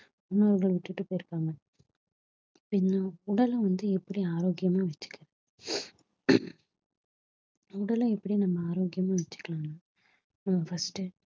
முன்னோர்கள் விட்டுட்டு போயிருக்காங்க பின்ன உடல வந்து எப்படி ஆரோக்கியமா வெச்சிக்க~ உடலை எப்படி நம்ம ஆரோக்கியமா வெச்சிக்கலாம்ன்னு ஹம் first உ